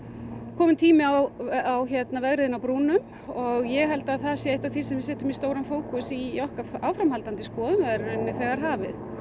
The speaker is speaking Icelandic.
kominn tími á á vegriðin á brúnum og ég held að það sé eitt af því sem við setjum í stóran fókus í okkar áframhaldandi skoðun og það er í rauninni þegar hafið